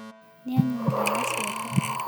Nĩanyua ndawa ciake.